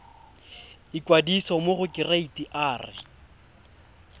ikwadisa mo go kereite r